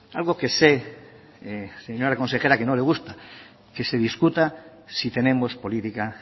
algo que sé señora consejera que no le gusta que se discuta si tenemos política